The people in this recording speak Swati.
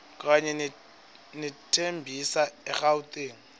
kanye nethembisa egauteng